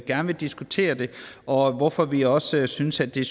gerne vil diskutere det og hvorfor vi også synes at det